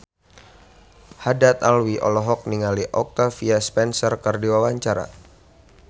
Haddad Alwi olohok ningali Octavia Spencer keur diwawancara